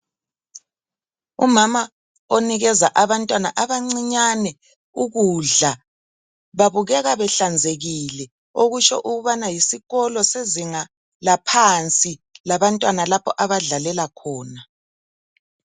Umama onikeza abantwana abancinyane ukudla. Babukeka behlanzekile. Okusho ukuba yisikolo, sezinga laphansi, lapha abantwana, abadlalela khona.